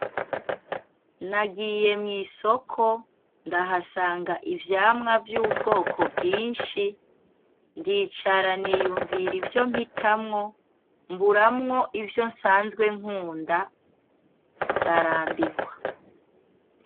Nagiye mw’ishoko ndahasanga ivyamwa vy’ubwoko bwinshi, ndicara niyunvira ivyo mpitamwo mburamwo ivyo nsanzwe nkunda ndarambirwa.